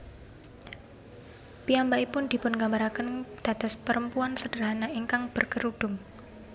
Piyambakipun dipungambarakén dados perempuan sederhana ingkang berkerudung